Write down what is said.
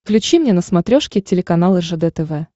включи мне на смотрешке телеканал ржд тв